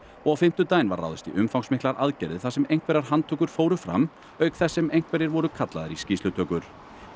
og á fimmtudaginn var ráðist í umfangsmiklar aðgerðir þar sem einhverjar handtökur fóru fram auk þess sem einhverjir voru kallaðir í skýrslutökur